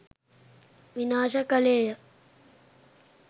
විනාශ කළේය.